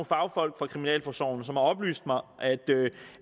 fagfolk fra kriminalforsorgen som har oplyst mig om